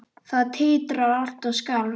Það titraði allt og skalf.